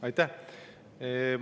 Aitäh!